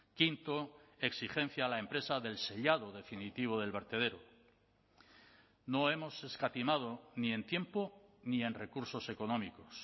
quinto exigencia a la empresa del sellado definitivo del vertedero no hemos escatimado ni en tiempo ni en recursos económicos